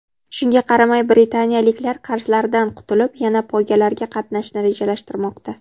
Shunga qaramay britaniyaliklar qarzlaridan qutulib, yana poygalarga qaytishni rejalashtirmoqda.